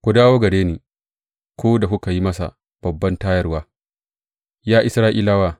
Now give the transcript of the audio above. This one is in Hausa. Ku dawo gare shi ku da kuka yi masa babban tayarwa, ya Isra’ilawa.